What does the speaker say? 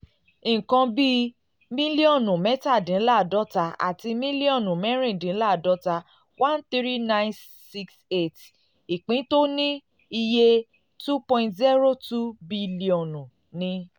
nǹkan um bí um mílíọ̀nù mẹ́tàdínláàádọ́ta àti mílíọ̀nù mẹ́rìndínláàádọ́ta [ thirteen thousand nine hundred sixty eight ] ìpín tó ní um iye n two point zero two bílíọ̀nù bílíọ̀nù ni